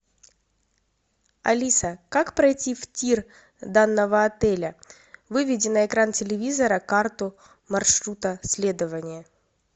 алиса как пройти в тир данного отеля выведи на экран телевизора карту маршрута следования